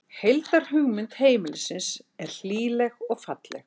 Heildarmynd heimilisins er hlýleg og falleg